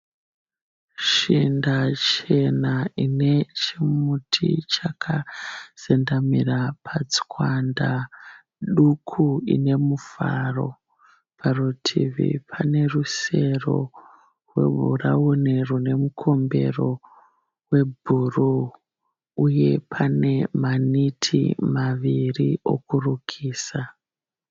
Shinda chena ine chimuti chakazendamira patswanda duku ine muvharo. Parutivi pane rusero rwebhurawuni rune mukombero webhuru uye pane maneti maviri okurukisa.